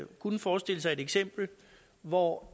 kunne forestille sig et eksempel hvor